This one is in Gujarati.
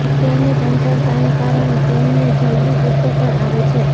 તેમની ચંચળતાને કારણે તેમને જલ્દી ગુસ્સો પણ આવે છે